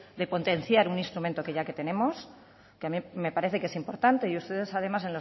de potenciar un instrumento que ya tenemos que a mí me parece que es importante y ustedes además